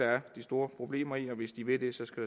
er de store problemer i hvis de vil det skal